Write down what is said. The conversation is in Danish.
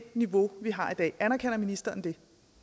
niveau vi har i dag anerkender ministeren det